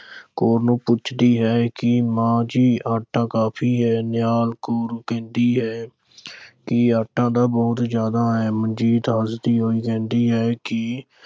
ਕੌਰ ਨੂੰ ਪੁੱਛਦੀ ਹੈ ਕਿ ਮਾਂ ਜੀ ਆਟਾ ਕਾਫ਼ੀ ਹੈ? ਨਿਹਾਲ ਕੌਰ ਕਹਿੰਦੀ ਹੈ ਕਿ ਆਟਾ ਤਾਂ ਬਹੁਤ ਜ਼ਿਆਦਾ ਹੈ। ਮਨਜੀਤ ਹੱਸਦੀ ਹੋਈ ਕਹਿੰਦੀ ਹੈ ਕਿ